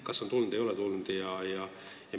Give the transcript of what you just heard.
Kas see on tulnud või ei ole tulnud?